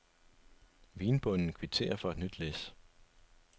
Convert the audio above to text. Vinbonden kvitterer for et nyt læs.